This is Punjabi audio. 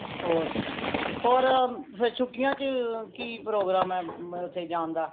ਹੋਰ ਹੋਰ ਫੇਰ ਛੁਟੀਆਂ ਚ ਕਿ program ਏ ਓਥੇ ਜਾਨ ਦਾ